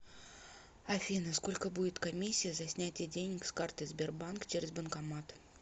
афина сколько будет комиссия за снятие денег с карты сбербанк через банкомат